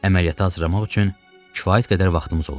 Əməliyyatı hazırlamaq üçün kifayət qədər vaxtımız olub.